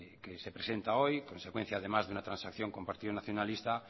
que se presenta hoy consecuencia además de una transacción con el partido nacionalista